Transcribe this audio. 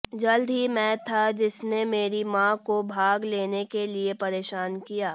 जल्द ही मैं था जिसने मेरी माँ को भाग लेने के लिए परेशान किया